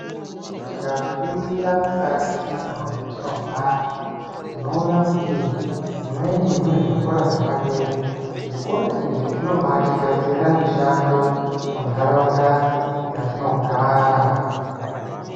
Tikaringira mukati mwendau dzatinogara tinoona kuti mumweni mune zvikora zvepadera zvikora izvi zvinobatigadzirira mushando muntaraunda dzatinogara.